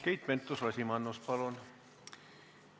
Keit Pentus-Rosimannus, palun!